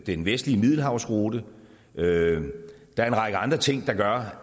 den vestlige middelhavsrute og der er en række andre ting der gør